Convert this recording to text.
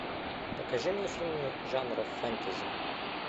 покажи мне фильмы жанра фэнтези